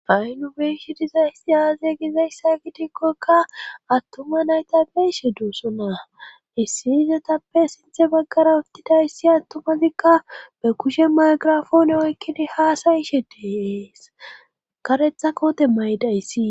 fa7i nu beeshi dizayssi aaze gizayssa gidikkokka attuma nayta beishe duussona issi izotappe sinthe baggara uttidayssi attumazikka be kushe maygirafoone oykkidi haasayishe deeees karetha koote maydayssi